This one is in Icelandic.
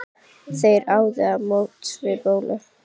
Þeir áðu á móts við Bólu.